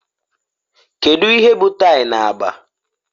Kedu ihe bụ tie na agba